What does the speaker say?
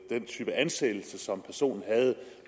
den type ansættelse som personen havde